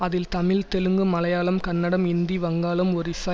அதில் தமிழ் தெலுங்கு மலையாளம் கன்னடம் இந்தி வங்காளம் ஒரிஸா